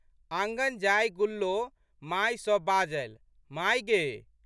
आँगन जाय गुल्लो माय सँ बाजलि, माय गे!